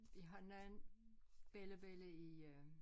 Vi har nogen bellabella i øh